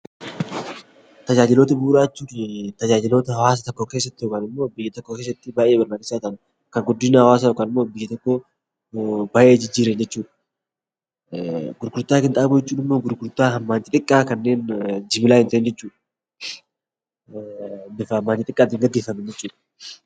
Tajaajiloota bu'uuraa jechuun tajaajiloota hawaasa tokko keessatti yookaan immoo biyya tokko keessatti baay'ee barbaachisaa ta'an, kan guddina hawaasaa yookaan immoo biyya tokko baay'ee jijjiiran jechuudha. Gurgurtaa qinxaaboo jechuun immoo gurgurtaa hammaan xixiqqaa kanneen jimlaa hin taane jechuudha. Bitamaa hamma xiqqaan gaggeeffaman jechuudha.